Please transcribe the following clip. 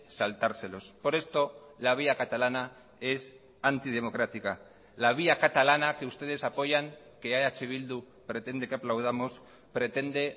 saltárselos por esto la vía catalana es antidemocrática la vía catalana que ustedes apoyan que eh bildu pretende que aplaudamos pretende